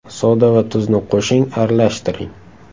Soda va tuzni qo‘shing, aralashtiring.